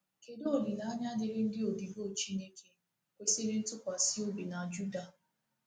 Kedu Olileanya dịịrị ndị odibo Chineke kwesịrị ntụkwasị obi na Juda?